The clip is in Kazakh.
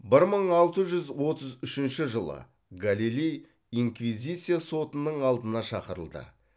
бір мың алты жүз отыз үшінші жылы галилей инквизиция сотының алдына шақырылды